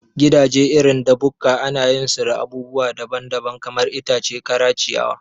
Gidaje irin da bukka anayin su da abubuwa daban daban, kamar itace kara, ciyawa